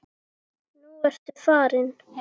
Nú ertu farin.